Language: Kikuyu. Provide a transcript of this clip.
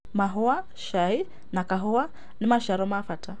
Mahũa, cai, na kaũa nĩ maciaro ma bata.